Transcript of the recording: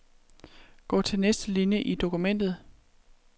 Gå til næste linie i dokumentet.